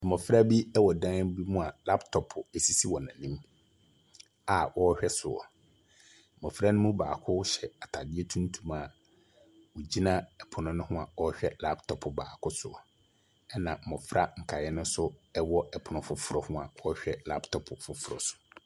Mmɔfra bi wɔ dan bi mu a laptɔpo sisi wɔn anim a wɔrehwɛ so. Mmɔfra no mu baako hyɛ atadeɛ tuntum a ɔgyina pono ho a ɔrehwɛ laptɔpo baako so, ɛnna mmɔfra nkaeɛ no nso wɔ pono foforɔ mu a wɔrehwɛ laptɔpo foforɔ so.